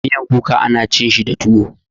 Miyan kuka ana cin shi da tuwo.